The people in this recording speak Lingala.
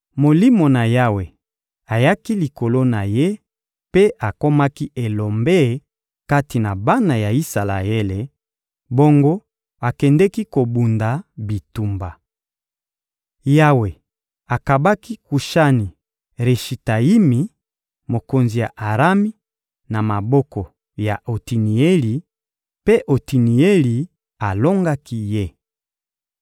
Molimo na Yawe ayaki likolo na ye mpe akomaki elombe kati na bana ya Isalaele; bongo akendeki kobunda bitumba. Yawe akabaki Kushani-Rishetayimi, mokonzi ya Arami, na maboko ya Otinieli; mpe Otinieli alongaki ye.